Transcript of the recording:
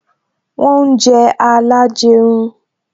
Wọn ń jẹ alajerun